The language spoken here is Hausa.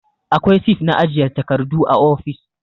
Akwai sif na ajiye takardu a ofis